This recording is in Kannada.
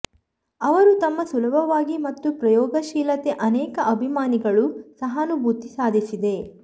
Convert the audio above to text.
ಅವರು ತಮ್ಮ ಸುಲಭವಾಗಿ ಮತ್ತು ಪ್ರಯೋಗಶೀಲತೆ ಅನೇಕ ಅಭಿಮಾನಿಗಳು ಸಹಾನುಭೂತಿ ಸಾಧಿಸಿದೆ